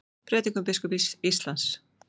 Prédikun biskups Íslands